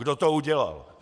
Kdo to udělal?